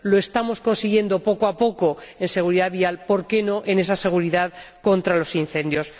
Lo estamos consiguiendo poco a poco en seguridad vial, por qué no en esa seguridad contra los incendios.